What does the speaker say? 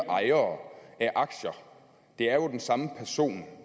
ejere af aktier det er jo den samme person